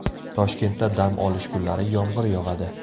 Toshkentda dam olish kunlari yomg‘ir yog‘adi.